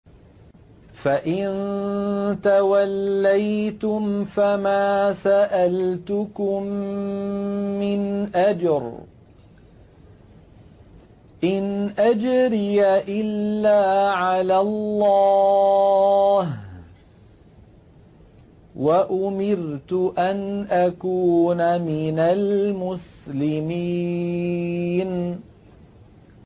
فَإِن تَوَلَّيْتُمْ فَمَا سَأَلْتُكُم مِّنْ أَجْرٍ ۖ إِنْ أَجْرِيَ إِلَّا عَلَى اللَّهِ ۖ وَأُمِرْتُ أَنْ أَكُونَ مِنَ الْمُسْلِمِينَ